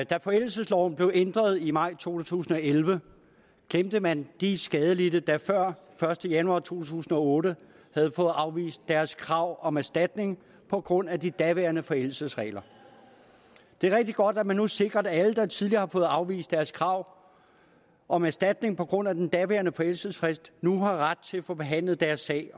da forældelsesloven blev ændret i maj to tusind og elleve glemte man de skadelidte der før første januar to tusind og otte havde fået afvist deres krav om erstatning på grund af de daværende forældelsesregler det er rigtig godt at man nu sikrer at alle der tidligere har fået afvist deres krav om erstatning på grund af den daværende forældelsesfrist nu har ret til at få behandlet deres sag i